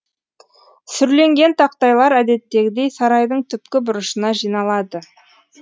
сүрленген тақтайлар әдеттегідей сарайдың түпкі бұрышына жиналады